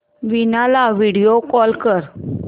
वीणा ला video call कर